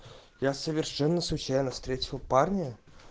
я совершенно случайно встретил парня